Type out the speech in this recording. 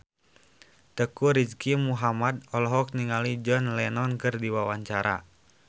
Teuku Rizky Muhammad olohok ningali John Lennon keur diwawancara